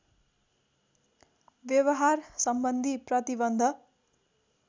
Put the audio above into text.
व्यवहार सम्बन्धी प्रतिबन्ध